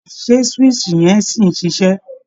Ṣé swíìṣì yẹn sì ń ṣiṣẹ́?